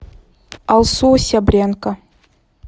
алсу сябренко